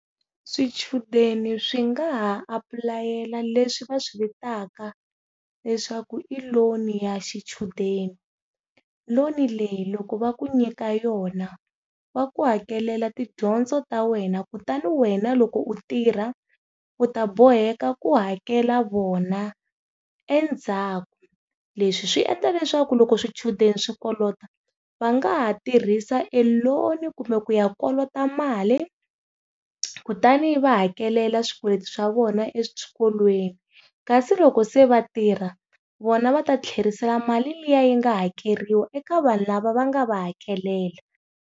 Swichudeni swi nga ha aplayela leswi va swi vitaka leswaku i loan ya swichudeni. Loan leyi loko va ku nyika yona, va ku hakela tidyondzo ta wena kutani wena loko u tirha, u ta boheka ku hakela vona, endzhaku. Leswi swi endla leswaku loko swichudeni swi kolota, va nga ha tirhisa loan kumbe ku ya kolota mali, kutani yi va hakela swikweleti swa vona eswikolweni. Kasi loko se va tirha, vona va ta tlherisela mali liya yi nga hakeriwa eka vanhu lava va nga va hakelela.